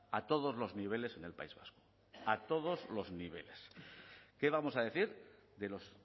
a todos los niveles en el país vasco a todos los niveles qué vamos a decir de los